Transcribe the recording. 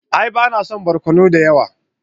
A'a ba na son barkono da yawa.